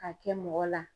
Ka kɛ mɔgɔ la